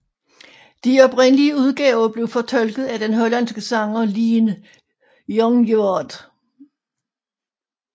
De oprindelige udgaver blev fortolket af den hollandske sanger Leen Jongewaard